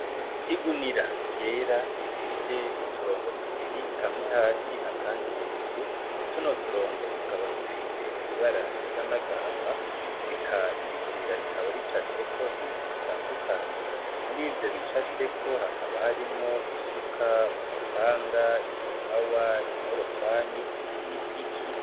Igunira ryera ifise uturongo tubiri kamwe hasi akandi hejuru, tuno turongo tukaba dufise ibara risa n'agahama eka iri gunira rikaba ricafyeko ibintu bitandukanye, murivyo bicafyeko hakaba harimwo isuka, umupanga, igipawa, inkorofani n'ipiki.